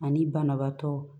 Ani banabaatɔ